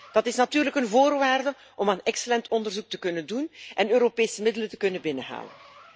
Dat is natuurlijk een voorwaarde om excellent onderzoek te kunnen doen en Europese middelen te kunnen binnenhalen.